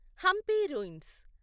Hampi ruins